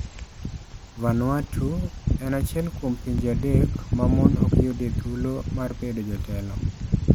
Vanuatu - en achiel kuom pinje adek ma mon ok yudie thuolo mar bedo jotelo.